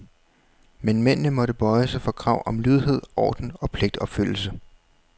Men mændene måtte bøje sig for krav om lydighed, orden og pligtopfyldelse.